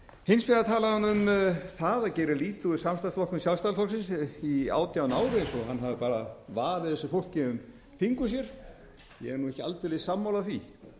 hins vegar talaði hún um það og gerði lítið úr samstarfsflokkum sjálfstæðisflokksins í átján ár eins og hann hafi bara vafið þessu fólki um fingur sér ég er nú ekki aldeilis sammála því